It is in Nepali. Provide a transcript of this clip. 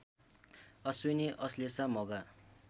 अश्विनी अश्लेषा मघा